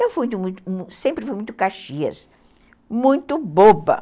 Eu sempre fui muito Caxias, muito boba.